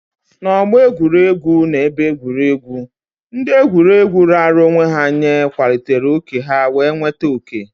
N'ọgbọ egwuregwu na ebe egwuregwu, ndị egwuregwu raara onwe ha nye kwalitere oke ha wee nweta oke.